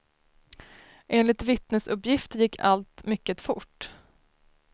Enligt vittnesuppgifter gick allt mycket fort.